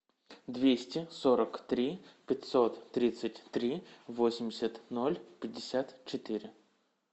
двести сорок три пятьсот тридцать три восемьдесят ноль пятьдесят четыре